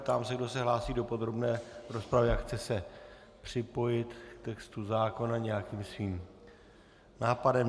Ptám se, kdo se hlásí do podrobné rozpravy a chce se připojit k textu zákona nějakým svým nápadem.